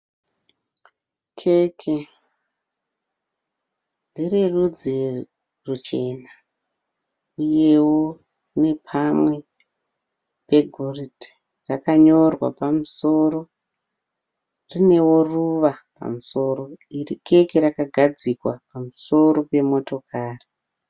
Keke ndererudzi ruchena uyewo nepamwe pegoridhe, rakanyorwa pamusoro rinewo ruva pamusoro iri keke rakagadzikwa pamusoro pemotokari.